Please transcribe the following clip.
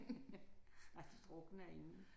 Ej de drukner inden